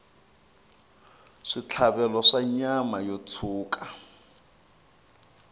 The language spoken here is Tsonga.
switlhavelo swa nyama yo tshuka